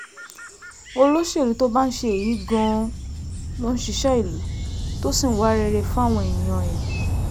olóṣèlú tó bá ń ṣe èyí gan-an ló ń ṣiṣẹ́ ìlú tó sì ń wá rere fáwọn èèyàn ẹ̀